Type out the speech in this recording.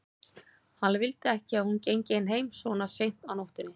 Hann vildi ekki að hún gengi ein heim svona seint á nóttunni.